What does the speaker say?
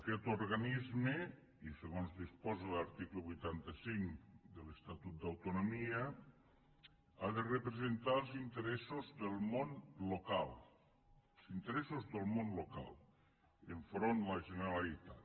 aquest organisme i segons disposa l’article vuitanta cinc de l’estatut d’autonomia ha de representar els interessos del món local els interessos del món local enfront de la generalitat